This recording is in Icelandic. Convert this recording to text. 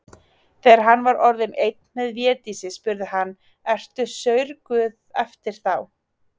Þegar hann var orðinn einn með Védísi spurði hann:-Ertu saurguð eftir þá.